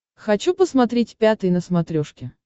хочу посмотреть пятый на смотрешке